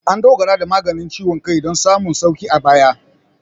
An dogara da maganin ciwon kai don samun sauƙi a baya.